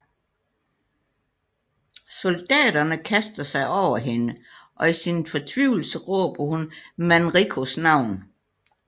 Soldaterne kaster sig over hende og i sin fortvivlelse råber hun Manricos navn